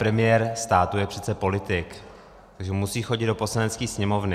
Premiér státu je přece politik, takže musí chodit do Poslanecké sněmovny.